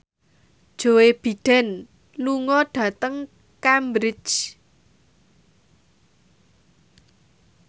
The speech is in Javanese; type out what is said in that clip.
Joe Biden lunga dhateng Cambridge